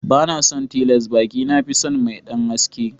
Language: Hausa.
Banason tiles baƙi na fison mai ɗan haske.